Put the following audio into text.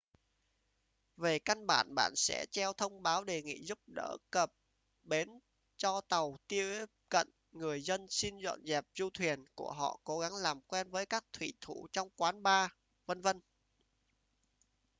về căn bản bạn sẽ treo thông báo đề nghị giúp đỡ cập bến cho tàu tiếp cận người dân xin dọn dẹp du thuyền của họ cố gắng làm quen với các thủy thủ trong quán bar v.v